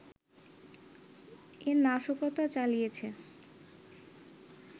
এ নাশকতা চালিয়েছে